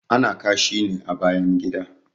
Ana kashi ne a bayan gida